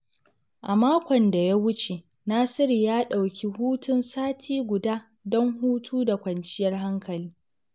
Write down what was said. A makon da ya wuce, Nasiru ya dauki hutun sati guda don hutu da kwanciyar hankali.